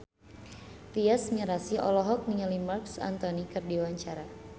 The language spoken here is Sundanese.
Tyas Mirasih olohok ningali Marc Anthony keur diwawancara